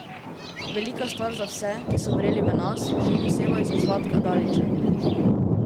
Velika stvar za vse, ki so verjeli v nas, še posebej za Zlatka Dalića.